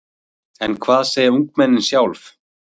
En hvað segja ungmennin sjálf?